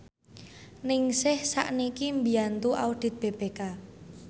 Ningsih sakniki mbiyantu audit BPK